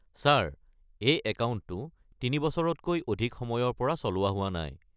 Sir, এই একাউণ্টটো তিনি বছৰতকৈ অধিক সময়ৰ পৰা চলোৱা হোৱা নাই।